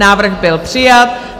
Návrh byl přijat.